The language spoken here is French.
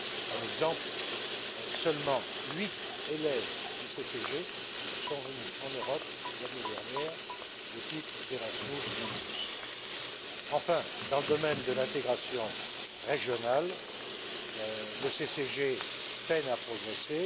Un exemple seulement 8 élèves du CCG sont venus en Europe l'année dernière au titre d'Erasmus Mundus. Enfin, dans le domaine de l'intégration régionale, le CCG peine à progresser.